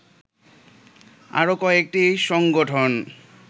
আরো কয়েকটি সংগঠন